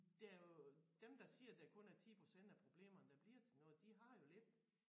Der jo dem der siger at der kun er 10% af problemerne der bliver til noget de har jo lidt